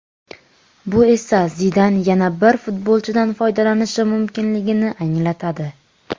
Bu esa Zidan yana bir futbolchidan foydalanishi mumkinligini anglatadi.